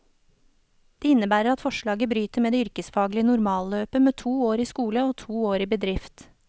Det innebærer at forslaget bryter med det yrkesfaglige normalløpet med to år i skole og to år i bedrift.